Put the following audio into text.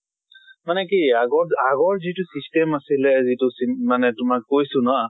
মানে কি আগত আগৰ যিটো system আছিলে, যিটো চিম মানে তোমাৰ কৈছো ন